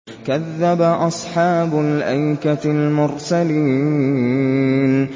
كَذَّبَ أَصْحَابُ الْأَيْكَةِ الْمُرْسَلِينَ